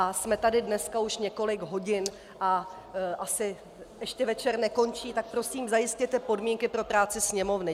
A jsme tu dnes už několik hodin a asi ještě večer nekončí, tak prosím, zajistěte podmínky pro práci Sněmovny.